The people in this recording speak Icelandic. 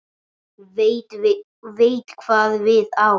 Veit hvað við á.